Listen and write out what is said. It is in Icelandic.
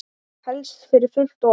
Helst fyrir fullt og allt.